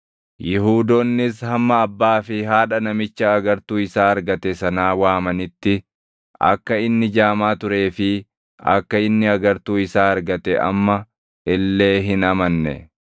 Yihuudoonnis hamma abbaa fi haadha namicha agartuu isaa argate sanaa waamanitti akka inni jaamaa turee fi akka inni agartuu isaa argate amma illee hin amanne.